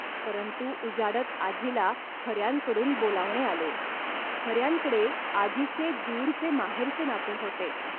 परंतु उजाडत आजीला खऱ्यांकडून बोलावणे आले. खऱ्यांकडे आजीचे दूरचे माहेरचे नाते होते